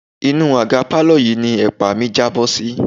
Inú àga pálọ̀ yìí ni ẹ̀pa mi jábọ́ sí.